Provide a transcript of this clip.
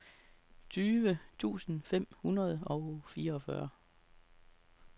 tyve tusind fem hundrede og fireogfyrre